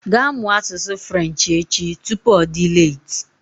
Ga mụọ asụsụ Frenchi echi! Tupu ọ dị leeti